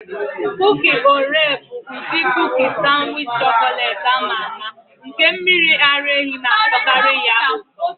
Kuki Oreo bụ ụdị kuki sanwichi chọkọletị ama ama, nke mmiri ara ehi na-atọkarị ya ụtọ.